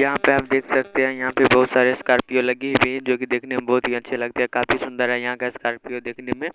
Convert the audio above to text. यहां पे आप देख सकते हैं यहां पे बोहोत सारे स्कर्पियो लगी हुई हैं जो कि देखने में बोहोत ही अच्छी लगती है काफी सुंदर है यहां का स्कार्पियो देखने में